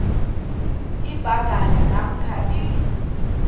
ibhanka namkha i